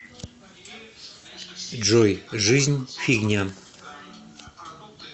джой жизнь фигня